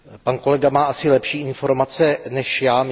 Pan kolega má asi lepší informace než já.